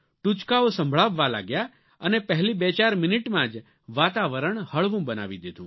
ટૂચકાઓ સંભળાવવા લાગ્યા અને પહેલી બેચાર મિનિટમાં જ વાતાવરણ હળવું બનાવી દીધું